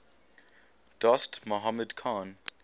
dost mohammad khan